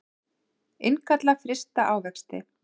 Innkalla frysta ávexti